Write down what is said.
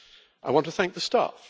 I want to thank the staff.